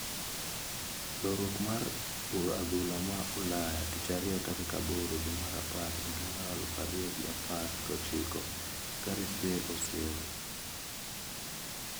Loruok mar adhula ma Ulaya Tich Ariyo tarik aboro dwe mar apar higa aluf ariyo gi apar gi ochiko" Gareth Bale oseol, " Balague ne owacho.